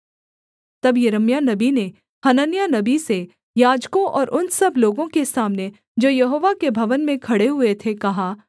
तब यिर्मयाह नबी ने हनन्याह नबी से याजकों और उन सब लोगों के सामने जो यहोवा के भवन में खड़े हुए थे कहा